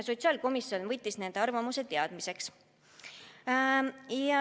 Sotsiaalkomisjon võttis need arvamused teadmiseks.